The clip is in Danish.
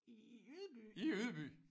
I i Ydby?